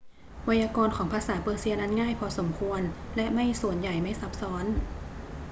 ไวยากรณ์ของภาษาเปอร์เซียนั้นง่ายพอสมควรและไม่ส่วนใหญ่ไม่ซับซ้อน